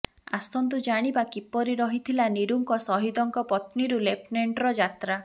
ଆସନ୍ତୁ ଜାଣିବା କିପରି ରହିଥିଲା ନିରୁଙ୍କ ଶହିଦଙ୍କ ପତ୍ନୀରୁ ଲେଫନେଣ୍ଟର ଯାତ୍ରା